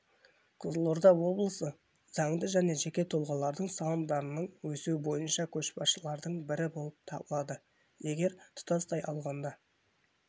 қызылорда облысы заңды және жеке тұлғалардың салымдарының өсуі бойынша көшбасшылардың бірі болып табылады егер тұтастай алғанда